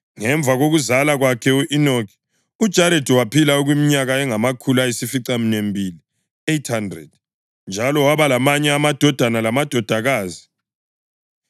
Ngemva kokuzala kwakhe u-Enoki, uJaredi waphila okweminyaka engamakhulu ayisificaminwembili (800) njalo waba lamanye amadodana lamadodakazi.